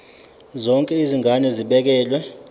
zonke izigaba zibekelwe